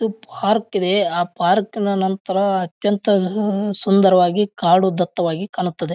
ಇದು ಪಾರ್ಕ್ ಇದೆ. ಆ ಪಾರ್ಕ್ ನ ನಂತರ ಅತ್ಯಂತ ಆ ಸುಂದರವಾಗಿ ಕಾಡು ದತ್ತವಾಗಿ ಕಾಣುತ್ತದೆ.